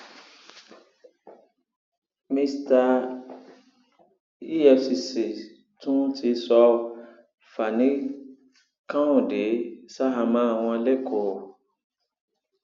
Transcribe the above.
efcc tún ti sọ fanikanode sàháàmọ wọn lẹkọọ